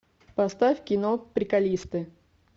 поставь кино приколисты